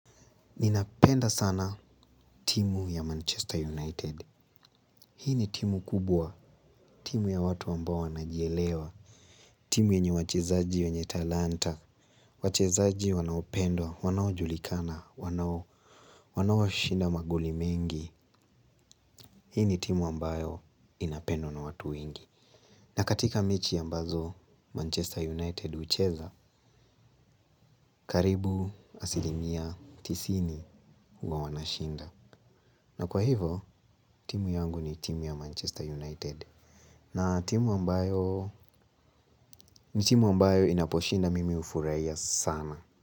Ninapenda sana timu ya Manchester United. Hii ni timu kubwa, timu ya watu ambao wanajielewa. Timu yenye wachezaji wenye talanta, wachezaji wanaopendwa, wanaojulikana, wanao shinda magoli mengi. Hii ni timu ambayo inapendwa na watu wengi. Na katika mechi ambazo Manchester United hucheza, karibu asilimia tisini wa huwa wanashinda. Na kwa hivo, timu yangu ni timu ya Manchester United. Ni timu ambayo inaposhinda mimi hufurahia sana.